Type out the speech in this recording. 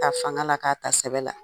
Ka ta fanga la ka ta sɛbɛn la.